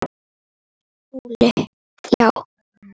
SKÚLI: Já!